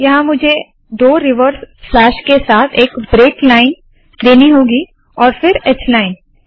यहाँ मुझे दो रिवर्स स्लैश के साथ एक ब्रेक लाइन देनी होगी और फिर h लाइन